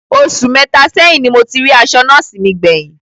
Osù mẹta sẹ́yìn ní mo ti rí aṣọ nọ́ọ̀sí mi gbé yín